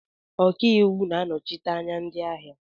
Ọkaiwu na-anọchite anya ndị ahịa